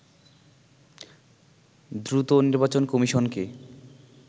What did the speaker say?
দ্রুত নির্বাচন কমিশনকে